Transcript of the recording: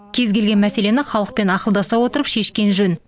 кез келген мәселені халықпен ақылдаса отыра шешкен жөн